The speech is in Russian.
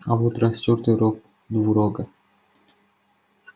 а вот растёртый рог двурога